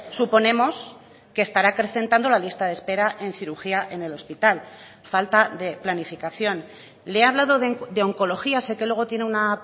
suponemos que estará acrecentando la lista de espera en cirugía en el hospital falta de planificación le he hablado de oncología sé que luego tiene una